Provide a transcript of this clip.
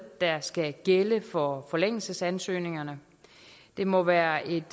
der skal gælde for forlængelsesansøgningerne det må være et